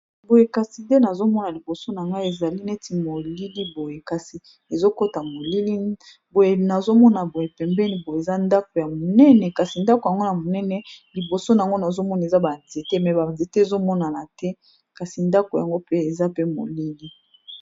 boye kasi d nazomona liboso na ngai ezali neti molili boye kasi ezokota molili boye nazomona boye pembeni boye eza ndako ya monene kasi ndako yango na monene liboso nango nazomona eza banzete me banzete ezomonana te kasi ndako yango pe eza pe molili